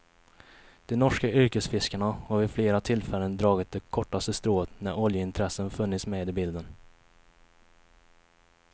De norska yrkesfiskarna har vid flera tillfällen dragit det kortaste strået när oljeintressen funnits med i bilden.